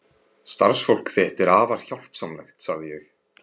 Starfsfólk þitt er afar hjálpsamlegt sagði ég.